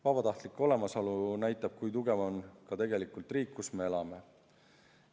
Vabatahtlike olemasolu näitab, kui tugev on tegelikult riik, kus me elame.